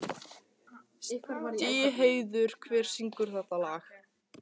Stígheiður, hver syngur þetta lag?